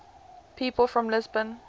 people from lisbon